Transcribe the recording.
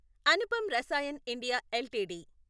Anupam Rasayan India LTD